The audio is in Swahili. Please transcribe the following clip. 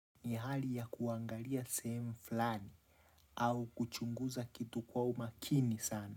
Ni hali ya kuangalia sehemu flani au kuchunguza kitu kwa umakini sana.